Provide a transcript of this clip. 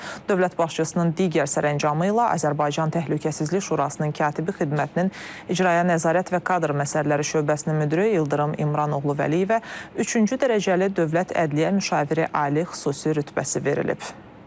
Dövlət başçısının digər sərəncamı ilə Azərbaycan Təhlükəsizlik Şurasının katibi xidmətinin icraya nəzarət və kadr məsələləri şöbəsinin müdiri İldırım İmran oğlu Vəliyevə üçüncü dərəcəli dövlət ədliyyə müşaviri ali xüsusi rütbəsi verilib.